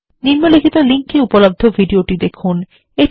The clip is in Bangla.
নিম্নলিখিত লিঙ্ক এ উপলব্ধ ভিডিওটি দেখুন